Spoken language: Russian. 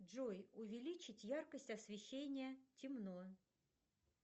джой увеличить яркость освещения темно